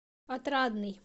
отрадный